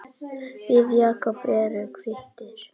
Við Jakob erum kvittir